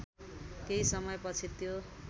केही समयपछि त्यो